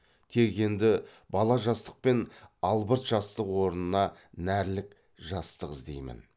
тек енді бала жастық пен албырт жастық орнына нәрлік жастық іздеймін